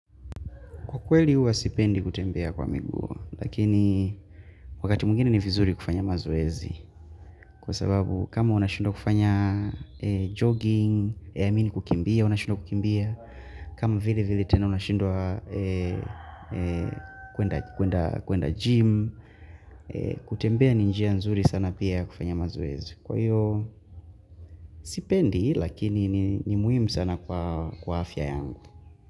Kwa kweli huwa sipendi kutembea kwa miguu, lakini wakati mwengini ni vizuri kufanya mazoezi. Kwa sababu kama unashindwa kufanya jogging, ya amini kukimbia, unashindwa kukimbia. Kama vile vile tena unashindwa kuenda gym, kutembea ni njia nzuri sana pia ya kufanya mazoezi. Kwa hiyo sipendi, lakini ni muhimu sana kwa afya yangu.